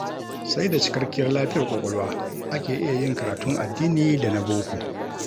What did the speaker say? Sai da cikakkiyar lafiyar ƙwaƙwalwa ake iya yin karatun addini da na boko